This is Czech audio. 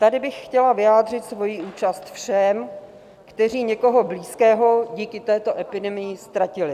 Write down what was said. Tady bych chtěla vyjádřit svoji účast všem, kteří někoho blízkého díky této epidemii ztratili.